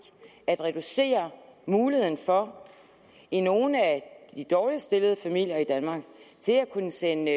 at reducere muligheden for i nogle af de dårligst stillede familier i danmark at kunne sende